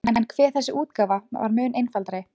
En hve þessi útgáfa var mun einfaldari!